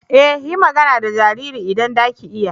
E! yi magana da jaririn idan za ki iya.